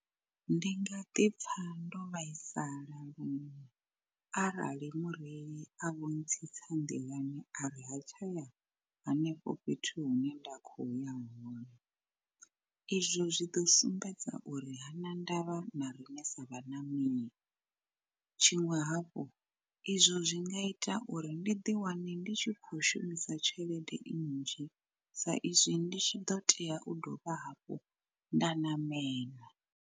Ndi nga ḓi pfha ndo vhaisala luṅwe arali mureili a vho ntsitsa nḓilani ari ha tshaya henefho fhethu hune nda khoya hone. Izwo zwi ḓo sumbedza uri hana ndavha na riṋe sa vhaṋameli. Tshiṅwe hafhu izwo zwi nga ita uri ndi ḓi wane ndi tshi khou shumisa tshelede nnzhi, sa izwi ndi tshi ḓo tea u dovha hafhu nda ṋamela.